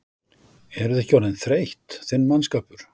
Eruð þið ekki orðin þreytt, þinn mannskapur?